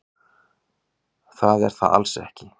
Það er það alls ekki.